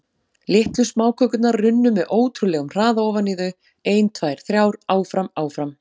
Litlar smákökurnar runnu með ótrúleg- um hraða ofan í þau, ein, tvær, þrjár- áfram- áfram.